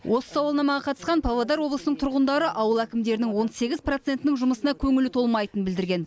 осы сауалнамаға қатысқан павлодар облысының тұрғындары ауыл әкімдерінің он сегіз процентінің жұмысына көңілі толмайтынын білдірген